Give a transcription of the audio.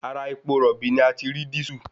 Ara epo rọ̀bì ni a ti rí dísù